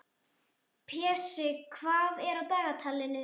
Pési, hvað er á dagatalinu í dag?